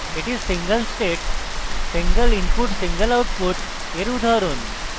এটি single state single input single output এর উদাহরণ